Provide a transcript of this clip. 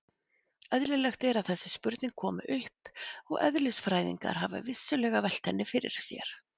Eðlilegt er að þessi spurning komi upp og eðlisfræðingar hafa vissulega velt henni fyrir sér.